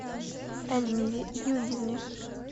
эльмире юрьевне